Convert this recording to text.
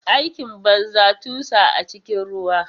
Aikin banza, tusa a cikin ruwa.